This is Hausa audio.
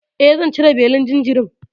E, zan cire belin jinjirin.